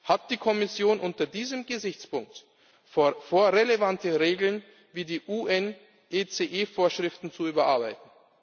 Hat die Kommission unter diesem Gesichtspunkt vor, relevante Regeln wie die UNECE Vorschriften zu überarbeiten?